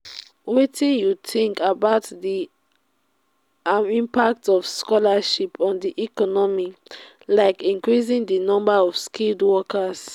wetin you think about di about di impact of scholarships on di economy like increasing di number of skilled workers?